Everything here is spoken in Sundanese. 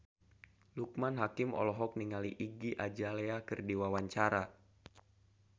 Loekman Hakim olohok ningali Iggy Azalea keur diwawancara